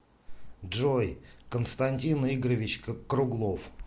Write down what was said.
джой константин игоревич круглов